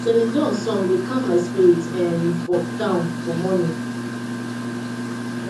celine dion song dey calm my spirit um down for morning